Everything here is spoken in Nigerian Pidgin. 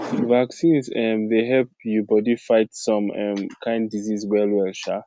vaccines um dey help you body fight some um kin diseases well well um